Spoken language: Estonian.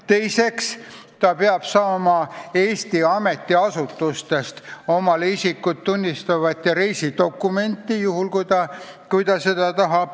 Teiseks, ta peab saama Eesti ametiasutustest omale isikut tõendava ja reisidokumendi, juhul kui ta seda tahab.